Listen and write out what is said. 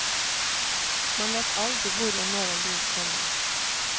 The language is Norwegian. Man vet aldri hvor og når en bil kommer.